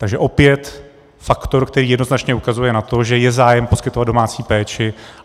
Takže opět faktor, který jednoznačně ukazuje na to, že je zájem poskytovat domácí péči.